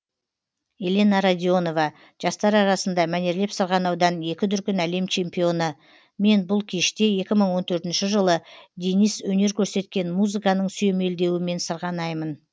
елена радионова жастар арасында мәнерлеп сырғанаудан екі дүркін әлем чемпионы мен бұл кеште екі мың он төртінші жылы денис өнер көрсеткен музыканың сүйемелдеуімен сырғанаймын